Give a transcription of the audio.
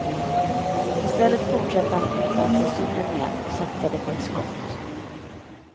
I stället fortsatte han utanför zonen igen, och satsade på ett skott.